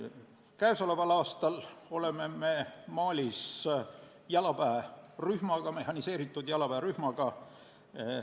Käesoleval aastal oleme me Malis mehhaniseeritud jalaväerühmaga.